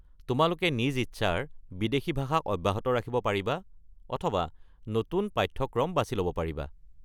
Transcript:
তোমালোকে নিজ ইচ্ছাৰ বিদেশী ভাষা অব্যাহত ৰাখিব পাৰিবা অথবা নতুন পাঠ্যক্ৰম বাছি ল'ব পাৰিবা।